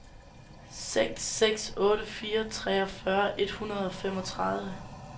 seks seks otte fire treogfyrre et hundrede og femogtredive